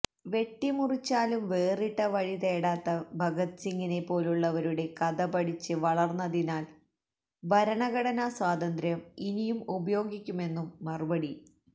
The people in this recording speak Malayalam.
വെട്ടിമുറിച്ചാലും വേറിട്ട വഴി തേടാത്ത ഭഗത് സിങ്ങിനെ പോലുള്ളവരുടെ കഥ പഠിച്ച് വളര്ന്നതിനാല് ഭരണഘടനാ സ്വാതന്ത്ര്യം ഇനിയും ഉപയോഗിക്കുമെന്നും മറുപടി